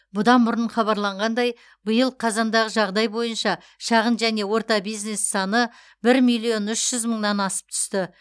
бұдан бұрын хабарланғандай биыл қазандағы жағдай бойынша шағын және орта бизнес саны бір миллион үш жүз мыңнан асып түсті